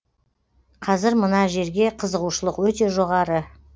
қазір мына жерге қызығушылық өте жоғары